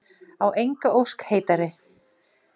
Á enga ósk heitari.